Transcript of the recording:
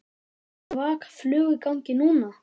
Svaka flug í gangi núna.